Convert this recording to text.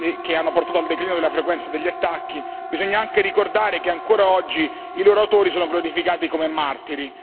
che hanno portato al declino della frequenza degli attacchi, bisogna anche ricordare che ancora oggi i loro autori sono glorificati come martiri